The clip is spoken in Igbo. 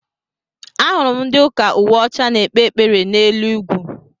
Ahụrụ m ndị ụka uwe ọcha n'ekpe ekpere n'elu ugwu.